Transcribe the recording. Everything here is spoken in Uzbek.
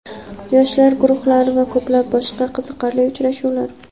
yoshlar guruhlari va ko‘plab boshqa qiziqarli uchrashuvlar!.